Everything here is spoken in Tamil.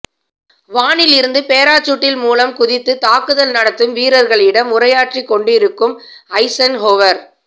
வானில் இருந்து பாராசூட்டில் மூலம் குதித்து தாக்குதல் நடத்தும் வீரர்களிடம் உரையாற்றிக் கொண்டிருக்கும்ஐசன்ஹோவர்